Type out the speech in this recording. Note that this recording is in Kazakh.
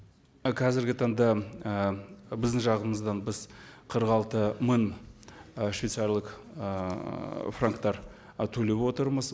і қазіргі таңда і біздің жағымыздан біз қырық алты мың ы швейцариялық ыыы франктар ы төлеп отырмыз